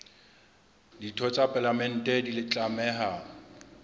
ditho tsa palamente di tlameha